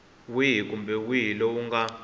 wihi kumbe wihi lowu nga